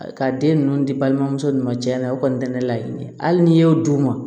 Ka den ninnu di balimamusow ni ma cɛla o kɔni tɛ ne laɲini ye hali n'i y'o d'u ma